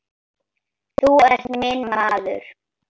Þú ert minn maður